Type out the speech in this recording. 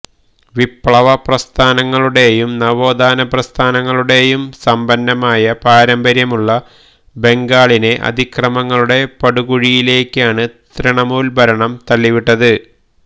വിപ്ലവ പ്രസ്ഥാനങ്ങളുടെയും നവോത്ഥാന പ്രസ്ഥാനങ്ങളുടെയും സമ്പന്നമായ പാരമ്പര്യമുള്ള ബംഗാളിനെ അതിക്രമങ്ങളുടെ പടുകൂഴിയിലേക്കാണ് ത്രിണമൂല് ഭരണം തള്ളിവിട്ടത്